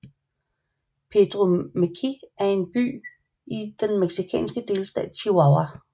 Pedro Meoqui er en by i den mexikanske delstat Chihuahua